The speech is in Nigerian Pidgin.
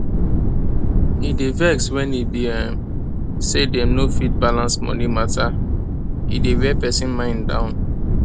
e dey vex wen e be um say dem no fit balance money mata e dey wear person mind down